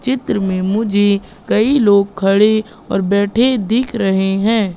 चित्र में मुझे कई लोग खड़े और बैठे दिख रहे हैं।